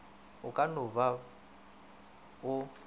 o ka no ba o